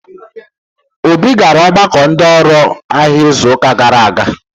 Obi gara ọgbakọ ndi oru ahia izuụka gara aga.